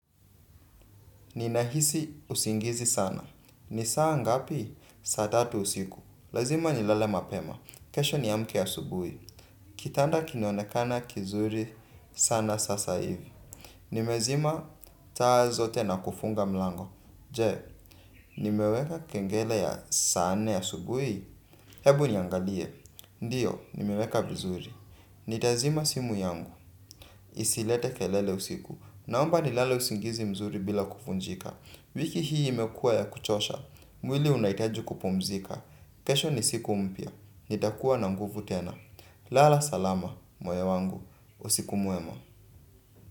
Ninahisi usingizi sana. Ni saa ngapi? Saa tatu usiku. Lazima nilale mapema. Kesho niamke asubuhi. Kitanda kinaonekana kizuri sana sasa hivi. Nimezima taa zote na kufunga mlango. Je, nimeweka kengele ya saa nne asubuhi. Hebu niangalie, ndiyo, nimeweka vizuri. Nutaizima simu yangu isilete kelele usiku. Naomba nilale usingizi mzuri bila kuvunjika. Wiki hii imekuwa ya kuchosha. Mwili unahutaji kupumzika. Kesho ni siku mpya, nitakuwa na nguvu tena. Lala salama, moyo wangu, usiku mwema.